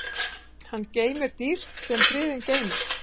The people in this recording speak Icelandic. Hann geymir dýrt sem friðinn geymir.